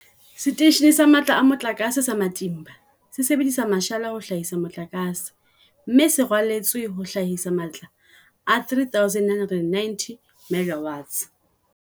Seteishene sa Matla a Mo tlakase sa Matimba se sebedisa mashala ho hlahisa motlakase, mme se raletswe ho hlahisa matla a 3990 MW.